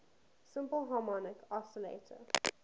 simple harmonic oscillator